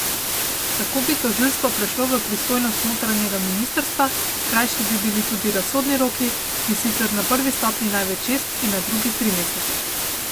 Tako bi tožilstvo prešlo v pristojnost notranjega ministrstva, krajši bi bili tudi razsodni roki, in sicer na prvi stopnji največ šest in na drugi tri mesece.